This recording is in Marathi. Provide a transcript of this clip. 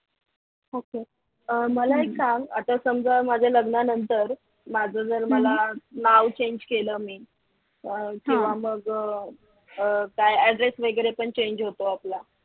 मला एक सांग आता समजा माझ्या लग्नानंतर माझ जर मला नाव change केलं मी केव्हा मग काय address वगैरे पण change होता आपला